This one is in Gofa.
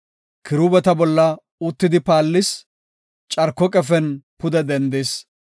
Kiruubeta bolla uttidi paallis; carko qefen pude dendis.